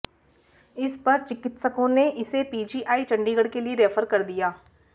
इस पर चिकित्सकों ने इसे पीजीआई चंडीगढ़ के लिए रैफर कर दिया